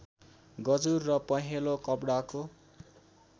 गजुर र पहेँलो कपडाको